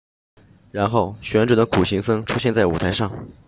然后旋转的苦行僧出现在舞台上